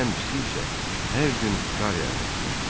Ən pisi isə hər gün qar yağması idi.